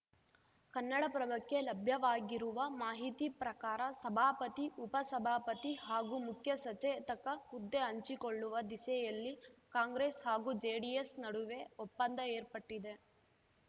ಕನ್ನಡಪ್ರಭಕ್ಕೆ ಲಭ್ಯವಾಗಿರುವ ಮಾಹಿತಿ ಪ್ರಕಾರ ಸಭಾಪತಿ ಉಪ ಸಭಾಪತಿ ಹಾಗೂ ಮುಖ್ಯ ಸಚೇತಕ ಹುದ್ದೆ ಹಂಚಿಕೊಳ್ಳುವ ದಿಸೆಯಲ್ಲಿ ಕಾಂಗ್ರೆಸ್‌ ಹಾಗೂ ಜೆಡಿಎಸ್‌ ನಡುವೆ ಒಪ್ಪಂದ ಏರ್ಪಟ್ಟಿದೆ